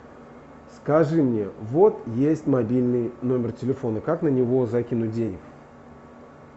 скажи мне вот есть мобильный номер телефона как на него закинуть денег